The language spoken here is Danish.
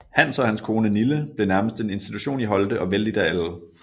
Hans og hans kone Nille blev nærmest en institution i Holte og vellidt af alle